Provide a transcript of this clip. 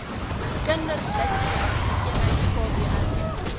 kinderblitsreaksie eenheid kbre